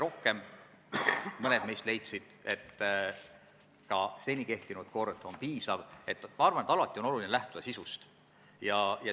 Põhjenduseks oli see, et lõike 1 puhul juba kehtib nõue, et raudtee-ettevõtja peab reaalsed kulutused 15 päeva jooksul tasuma.